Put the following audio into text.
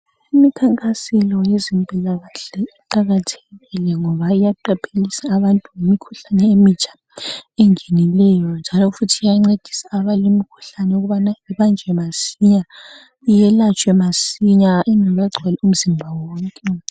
Imikhankaselo yabezempilakahle iqakathekile ngoba iyaqaphelisa abantu ngemkhuhlane emitsha engenileyo njalo futhi iyancedisa abalemkhuhlane ukubana ibanjwe masinya , iyelatshwe masinya ingekagcwali umzimba wonke